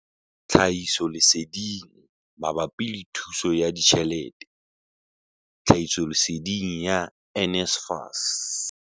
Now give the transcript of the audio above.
Tlhahisoleseding mabapi le thuso ya ditjhelete, tlhahisoleseding ya NSFAS.